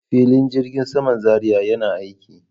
Filin jirgin saman Zaria yana aiki.